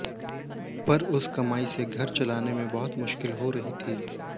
पर उस कमाई से घर चलाने में बहुत मुश्किल हो रही थी